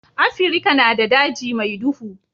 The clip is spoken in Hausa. Afirika na da daji mai duhu.